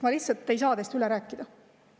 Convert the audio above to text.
Ma lihtsalt ei saa teist üle rääkida.